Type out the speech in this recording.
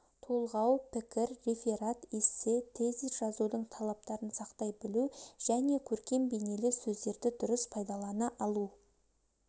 толғау пікір реферат эссе тезис жазудың талаптарын сақтай білу және көркем-бейнелі сөздерді дұрыс пайдалана алу